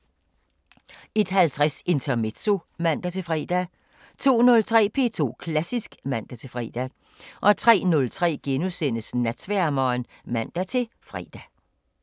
01:50: Intermezzo (man-fre) 02:03: P2 Klassisk (man-fre) 03:03: Natsværmeren *(man-fre)